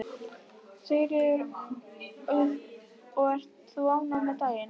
Sigríður: Og ert þú ánægð með daginn?